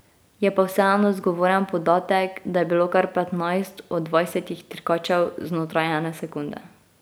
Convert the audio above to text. Je pa vseeno zgovoren podatek, da je bilo kar petnajst od dvajsetih dirkačev znotraj ene sekunde.